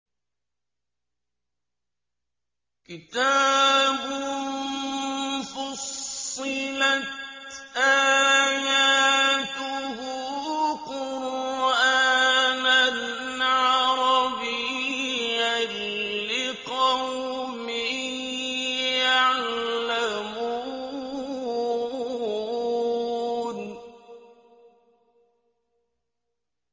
كِتَابٌ فُصِّلَتْ آيَاتُهُ قُرْآنًا عَرَبِيًّا لِّقَوْمٍ يَعْلَمُونَ